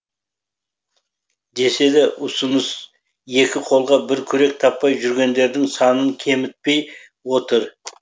десе де ұсыныс екі қолға бір күрек таппай жүргендердің санын кемітпей отыр